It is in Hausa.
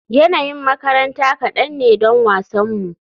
Yanayin makaranta kadan ne don wasanmu.